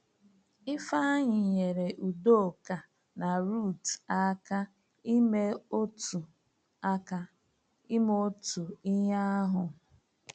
Ifeanyi nyere Udoka na Ruth aka ime otu aka ime otu ihe ahụ.